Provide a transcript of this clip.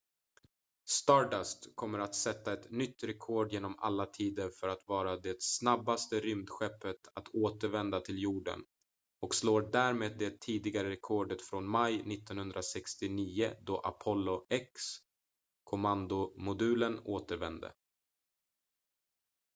stardust kommer att sätta ett nytt rekord genom alla tider för att vara det snabbaste rymdskeppet att återvända till jorden och slår därmed det tidigare rekordet från maj 1969 då apollo x-kommandomodulen återvände